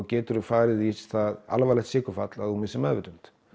getur þú farið í það alvarlegt sykurfall að þú missir meðvitund